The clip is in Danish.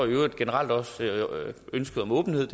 i øvrigt generelt også ønsket om åbenhed